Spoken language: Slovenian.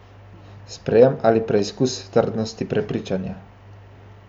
Sprejem ali preizkus trdnosti prepričanja?